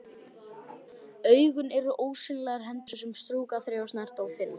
Augun eru ósýnilegar hendur sem strjúka, þreifa, snerta, finna.